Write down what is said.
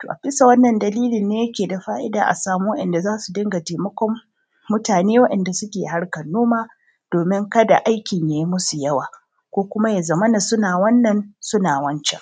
to a bisa wannan dalilin ne yake da fa`ida a sami wa`yanda za su rinƙa taimakon mutane wa`yanda za su rinƙa taimakon mutane wa`yanda suke harkan noma domin kada aikin yi masu yawa ko kuma ya zamana suna wannan suna wancan.